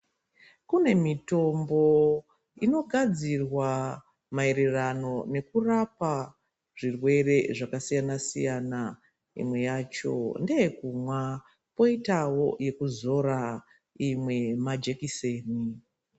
Kune mitombo inogadzirwa maererano nekurapa zvirwere zvakasiyana-siyana. Imwe yacho ndeyekumwa, poitawo yekuzora, imwe majekiseni.